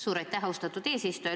Suur aitäh, austatud eesistuja!